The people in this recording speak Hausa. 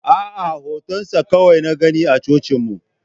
A'a, hotonsa kawai na gani a cocinmu.